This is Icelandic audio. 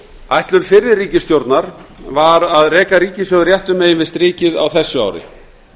ætlun fyrri ríkisstjórnar var að reka ríkissjóð réttu megin við strikið á þessu ári